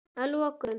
Að lokum